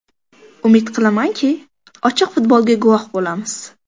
Umid qilamanki, ochiq futbolga guvoh bo‘lamiz”.